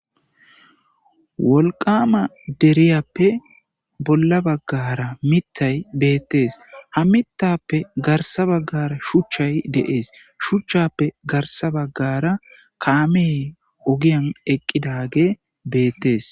wolqama deriyappe bolla baggara mittay beettees ha mittappe garsa baggara shuchchay de'ees shuchchappe garsa baggara kaame ogiyan eqqidage beettees